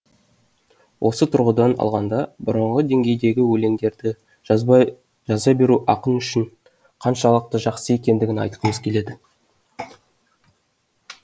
осы тұрғыдан алғанда бұрынғы деңгейдегі өлеңдерді жаза беру ақын үшін қаншалықты жақсы екендігін айтқымыз келеді